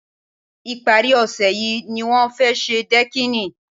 Ìpárí ọ̀sẹ̀ yìí ni wọ́n fẹ́ ṣe dẹ́kìnì